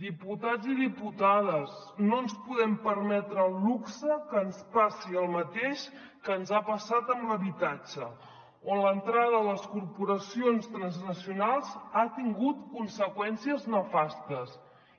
diputats i diputades no ens podem permetre el luxe que ens passi el mateix que ens ha passat amb l’habitatge on l’entrada de les corporacions transnacionals ha tingut conseqüències nefastes